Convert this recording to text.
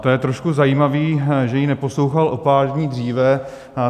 To je trošku zajímavé, že ji neposlouchal o pár dní dříve.